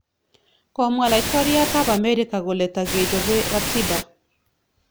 Komwa laitoryat ab Amerika kole tagechobe ratiba